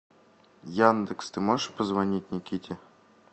яндекс ты можешь позвонить никите